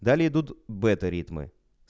далее идут бета ритмы